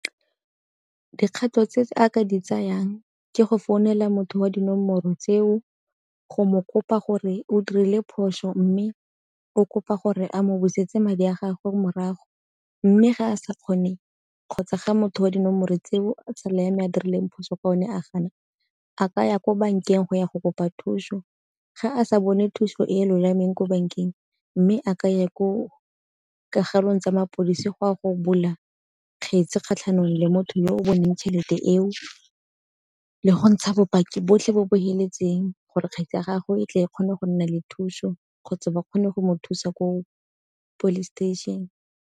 Dikgato tse a ka di tsayang ke go founela motho wa dinomoro tseo go mo kopa gore o dirile phoso mme o kopa gore a mo busetse madi a gago morago. Mme ga a sa kgone kgotsa ga motho wa dinomoro tseo tsala ya me a dirileng phoso ka one a gana a ka ya ko bankeng go ya go kopa thuso. Ga a sa bone thuso e lolameng ko bankeng mme a ka ya ko kagelong tsa mapodisi go a go bula kgetse kgatlhanong le motho yo o boneng tšhelete eo, le go ntsha bopaki botlhe bo bo feletseng gore kgwebo ya gago e tle e kgone go nna le thuso kgotsa ba kgone go mo thusa ko police station.